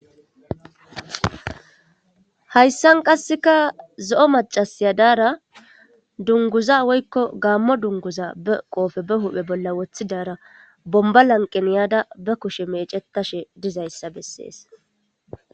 Hayssan qasseka zoo maccasiya daradungguza woyiko gamo dunguza be huphe bolla woththadara bomiba laniqen yada be kushe meeccetshe dizayisa besesi..